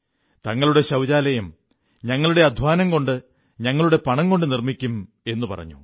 ഞങ്ങളുടെ ശൌചാലയം ഞങ്ങളുടെ അധ്വാനം കൊണ്ട് ഞങ്ങളുടെ പണം കൊണ്ട് നിർമ്മിക്കും എന്നു പറഞ്ഞു